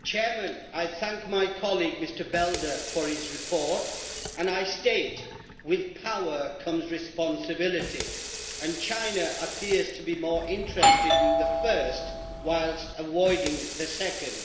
Mr President, I thank my colleague Mr Belder for his report. With power comes responsibility, and China appears to be more interested in the first whilst avoiding the second.